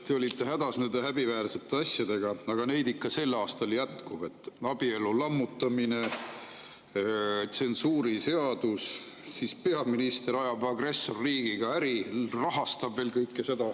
Te olite hädas nende häbiväärsete asjadega, aga neid sel aastal ikka jätkub: abielu lammutamine, tsensuuriseadus, peaminister ajab agressorriigiga äri ja veel rahastab seda kõike.